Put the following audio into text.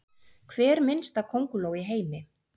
Hver minnsta könguló í heimi?